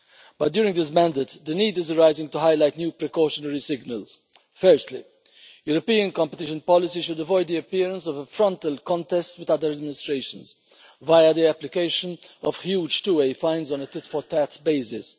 But during this mandate the need is arising to highlight new precautionary signals. Firstly, European competition policy should avoid the appearance of a frontal contest with other administrations via the application of huge two way fines on a tit for tat basis.